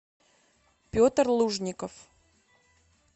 петр лужников